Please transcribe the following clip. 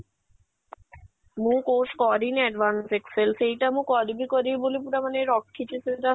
ମୁଁ course କରିନି advance excel ସେଇଟା ମୁଁ କରିବି କରିବି ବୋଲି ପୁରା ମାନେ ରଖିଛି ସେଇଟା